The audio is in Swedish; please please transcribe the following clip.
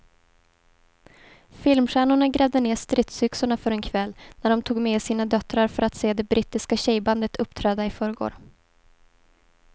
Filmstjärnorna grävde ned stridsyxorna för en kväll när de tog med sina döttrar för att se det brittiska tjejbandet uppträda i förrgår.